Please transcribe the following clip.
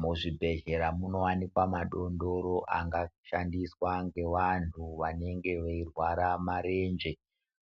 Muzvibhehlera munowanikwa madondoro angashandiswa ngevantu vanenge vairwara marenje